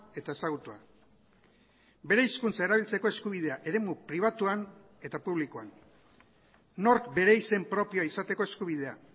eta ezagutua bere hizkuntza erabiltzeko eskubidea eremu pribatuan eta publikoan nork bere izen propioa izateko eskubidea